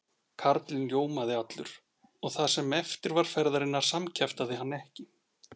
Karlinn ljómaði allur og það sem eftir var ferðarinnar samkjaftaði hann ekki.